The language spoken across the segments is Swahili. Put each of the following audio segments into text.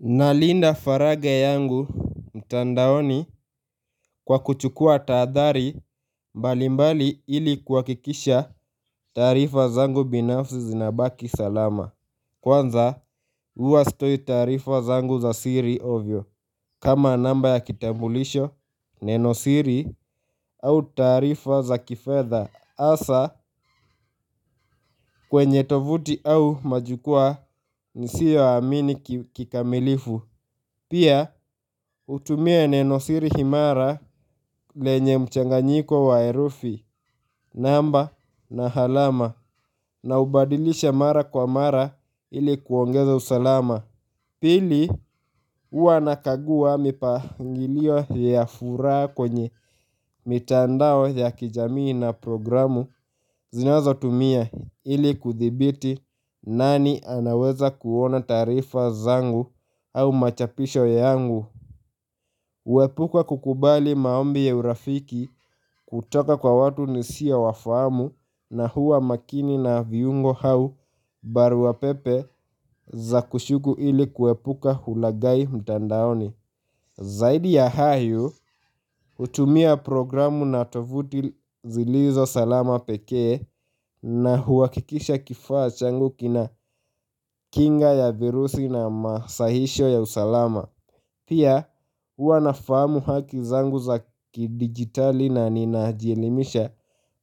Nalinda faraga yangu mtandaoni kwa kuchukua taadhari mbalimbali ili kuhakikisha taarifa zangu binafsi zinabaki salama Kwanza uwa sitoi taarifa zangu za siri ovyo kama namba ya kitambulisho neno siri au taarifa za kifedha asa kwenye tovuti au majukwaa nisio amini kikamilifu Pia utumia neno siri himara lenye mchanganyiko wa erufi namba na halama na ubadilisha mara kwa mara ili kuongeza usalama Pili ua nakagua mipangilio ya furaha kwenye mitandao ya kijamii na programu zinazo tumia ili kuthibiti nani anaweza kuona taarifa zangu au machapisho yangu Uwepuka kukubali maombi ya urafiki kutoka kwa watu nisio wafahamu na huwa makini na viungo hau baruapepe za kushuku ili kuwepuka hulaghai mtandaoni. Zaidi ya hayo, utumia programu na tovuti zilizo salama pekee na huakikisha kifaa changu kina kinga ya virusi na masahisho ya usalama. Pia ua nafahamu haki zangu za kidigitali na ninajielimisha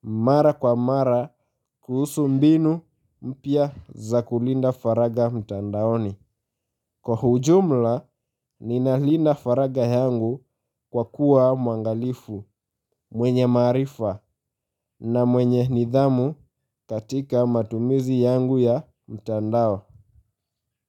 mara kwa mara kuhusu mbinu mpya za kulinda faraga mtandaoni. Kwa hujumla ninalinda faraga yangu kwa kuwa mwangalifu mwenye maarifa na mwenye nidhamu katika matumizi yangu ya mtandao.